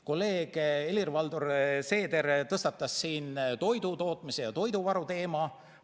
Kolleeg Helir-Valdor Seeder tõstatas siin toidutootmise ja toiduvaru teema.